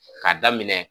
K'a daminɛ